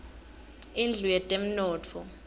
indlu yetemnotfo